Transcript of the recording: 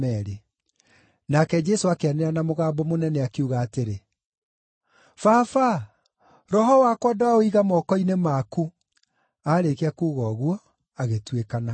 Nake Jesũ akĩanĩrĩra na mũgambo mũnene, akiuga atĩrĩ, “Baba, roho wakwa ndaũiga moko-inĩ maku.” Aarĩkia kuuga ũguo, agĩtuĩkana.